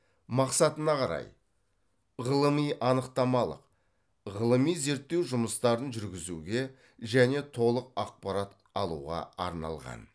мақсатына қарай ғылыми анықтамалық ғылыми зерттеу жұмыстарын жүргізуге және толық ақпарат алуға арналған